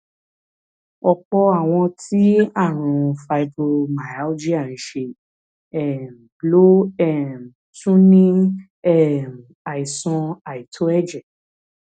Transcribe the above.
ọpọ àwọn tí àrùn fibromyalgia ń ṣe um ló um tún ní um àìsàn àìtó ẹjẹ